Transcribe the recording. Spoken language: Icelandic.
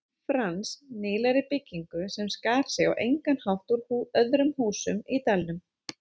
Frans, nýlegri byggingu sem skar sig á engan hátt úr öðrum húsum í dalnum.